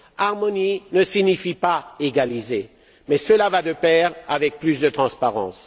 Harmoniser ne signifie pas égaliser, mais cela va de pair avec plus de transparence.